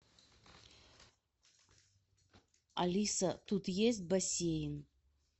алиса тут есть бассейн